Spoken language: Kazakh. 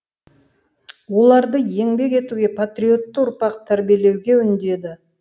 оларды еңбек етуге патриотты ұрпақ тәрбиелеуге үндеді